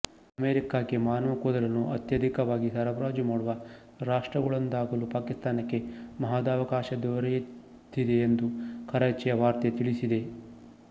ಅಮೆರಿಕಾಕ್ಕೆ ಮಾನವ ಕೂದಲನ್ನು ಅತ್ಯಧಿಕವಾಗಿ ಸರಬರಾಜು ಮಾಡುವ ರಾಷ್ಟ್ರಗಳಲ್ಲೊಂದಾಗಲು ಪಾಕಿಸ್ತಾನಕ್ಕೆ ಮಹದವಕಾಶ ದೊರೆತಿದೆಯೆಂದು ಕರಾಚಿಯ ವಾರ್ತೆ ತಿಳಿಸಿದೆ